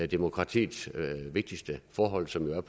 demokratiets vigtigste forhold som jo